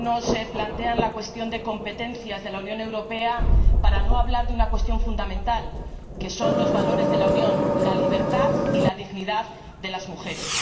algunos se plantean la cuestión de las competencias de la Unión Europea para no hablar de una cuestión fundamental los valores de la Unión, la libertad y la dignidad de las mujeres.